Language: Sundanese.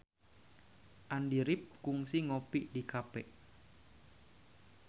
Andy rif kungsi ngopi di cafe